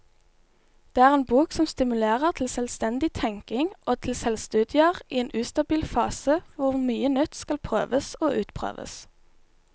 Det er en bok som stimulerer til selvstendig tenkning og til selvstudier i en ustabil fase hvor mye nytt skal prøves og utprøves.